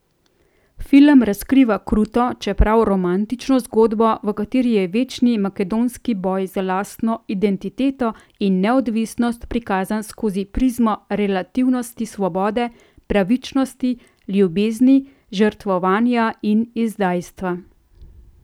Film razkriva kruto, čeprav romantično zgodbo, v kateri je večni makedonski boj za lastno identiteto in neodvisnost prikazan skozi prizmo relativnosti svobode, pravičnosti, ljubezni, žrtvovanja in izdajstva.